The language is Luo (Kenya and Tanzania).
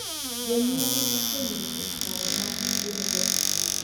Jonyuol osenyiso paro ma gin-go